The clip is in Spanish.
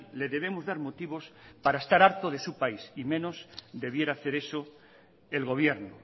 le debemos dar motivos para estar harto de su país y menos debiera hacer eso el gobierno